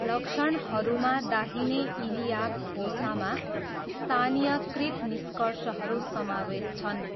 लक्षणहरूमा दाहिने इलियाक फोसामा स्थानीयकृत निष्कर्षहरू समावेश छन्।